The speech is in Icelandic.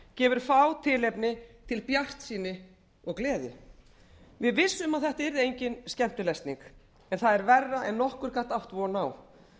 gefur fá tilefni til bjartsýni og gleði við vissum að þetta yrði engin skemmtilesning en það er verra en nokkur gat átt von á